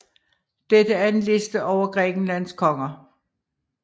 Dette er en liste over Grækenlands konger